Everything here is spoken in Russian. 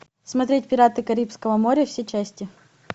смотреть пираты карибского моря все части